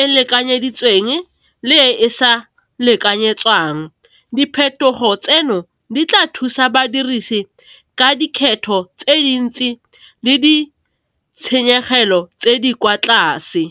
e lekanyeditsweng le e e sa lekanyetswang, diphetogo tseno di tla thusa badirisi ka dikgetho tse dintsi le di tshenyegelo tse di kwa tlase.